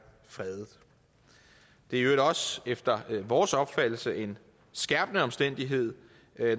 fredet det er i øvrigt også efter vores opfattelse en skærpende omstændighed